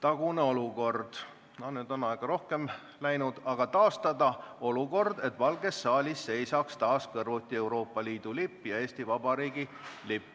tagune olukord – nüüd on aega rohkem läinud –, et Valges saalis seisaks taas kõrvuti Euroopa Liidu lipp ja Eesti Vabariigi lipp.